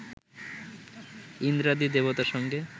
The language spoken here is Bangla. ইন্দ্রাদি দেবতার সঙ্গে